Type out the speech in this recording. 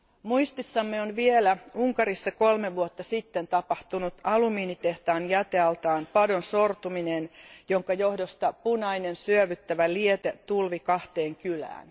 Muistissamme on vielä Unkarissa kolme vuotta sitten tapahtunut alumiinitehtaan jätealtaan padon sortuminen, jonka johdosta punainen syövyttävä liete tulvi kahteen kylään.